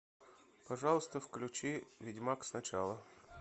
пожалуйста включи ведьмак сначала